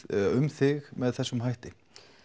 um þig með þessum hætti